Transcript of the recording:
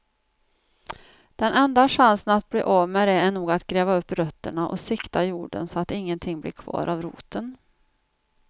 Den enda chansen att bli av med det är nog att gräva upp rötterna och sikta jorden så att ingenting blir kvar av roten.